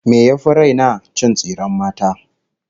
Me yafi raina? Cin tsiren mata